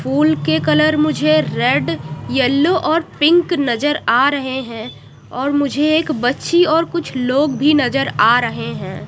फूल के कलर मुझे red yellow और पिंक नज़र आ रहे हैं और मुझे एक बच्ची और कुछ लोग भी नजर आ रहे हैं।